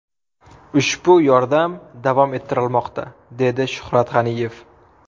Ushbu yordamlar davom ettirilmoqda”, dedi Shuhrat G‘aniyev.